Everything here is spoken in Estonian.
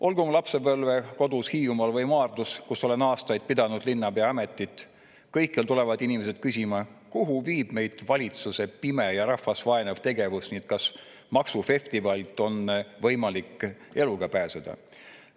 Olgu oma lapsepõlvekodus Hiiumaal või Maardus, kus olen aastaid pidanud linnapea ametit – kõikjal tulevad inimesed küsima, kuhu viib meid valitsuse pime ja rahvast vaenav tegevus ning kas maksufestivalist on võimalik eluga pääseda.